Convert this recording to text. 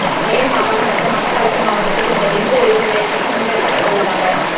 மேல் மாகாணம் மற்றும் மட்டக்களப்பு மாவட்டத்தில் இந்த டெங்கு ஒழிப்பு வேலைத்திட்டம் முன்னெடுக்கப்படவுள்ளதாக